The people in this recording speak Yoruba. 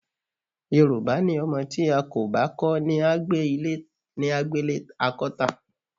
Yorùbá ní o̩mo̩ tí a kò bá kó̩ ní á gbélé a kó̩ tà.